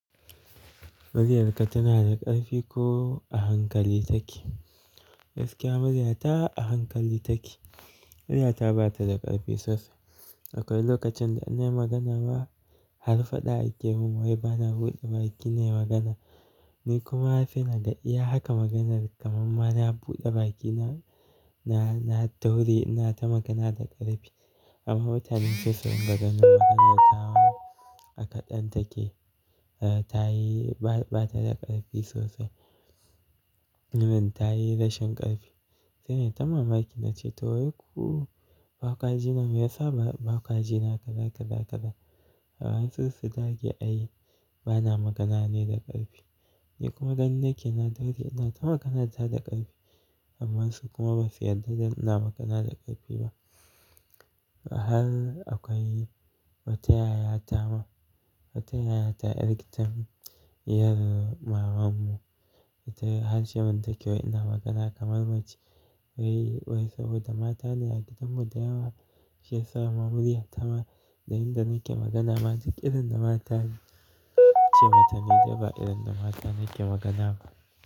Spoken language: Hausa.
Muryarka tana da ƙarfi ko a hankali take? Gaskiya muryata a hankali take. Muryata bata da ƙarfi sosai. Akwai lokacin da in yi magana ma har faɗa ake mun wai bana buɗe baki na yi magana. Ni kuma sai naga iya haka maganar kamar mara buɗe bakina na, na dauri ina ta magana da ƙarfi. Amma mutanen saisu ringa ganin maganarta wa a kaɗan take, eh tayi ba, bata da ƙarfi sosai. Nan tayi rashin ƙarfi sai nai ta mamaki na ce to wai ku bakwa jina me yasa bakwa jina ka kaza, ka kaza, ka kaza? Amma su su dage a yi bana magana ne da ƙarfi. Ni kuma gani nake na daure ina ta magana ta da ƙarfi amma su kuma ba su yarda da ina magana da ƙarfi ba. Har akwai wata ya ya ta ma, wata yaya ta yar gida diyar mamanmu Ta yi har ce man ta ke wai ina magana kamar mace. Wai, wai saboda matane a gidanmu da yawa shi ya sa muryata ma, da yinda nake magana ma duk idon da mata ce matane daban idon da mata nake magana ba.